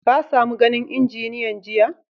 Ka samo ganin injiniyan jiya?